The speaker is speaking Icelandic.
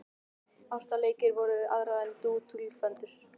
Ástarleikir við aðra voru dútl og föndur.